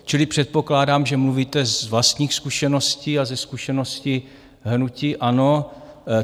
Čili předpokládám, že mluvíte z vlastních zkušeností a ze zkušeností hnutí ANO.